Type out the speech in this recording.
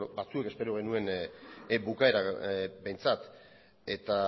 batzuek espero genuen bukaera behintzat eta